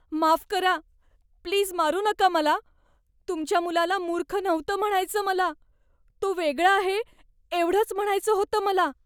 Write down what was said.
माफ करा, प्लीज मारू नका मला. तुमच्या मुलाला मूर्ख नव्हतं म्हणायचं मला. तो वेगळा आहे एवढंच म्हणायचं होतं मला.